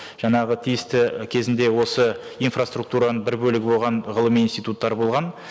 жаңағы тиісті кезінде осы инфраструктураның бір бөлігі болған ғылыми институттар болған